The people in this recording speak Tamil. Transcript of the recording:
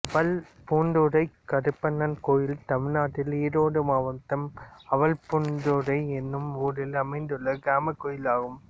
அவல்பூந்துறை கருப்பண்ணன் கோயில் தமிழ்நாட்டில் ஈரோடு மாவட்டம் அவல்பூந்துறை என்னும் ஊரில் அமைந்துள்ள கிராமக் கோயிலாகும்